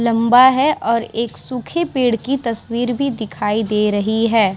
लम्बा है और एक सूखे पेड़ की तस्वीर भी दिखाई दे रही है।